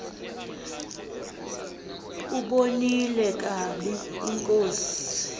ubonile ukaba inkosi